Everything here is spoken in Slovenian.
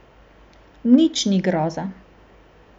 Nič ni groza.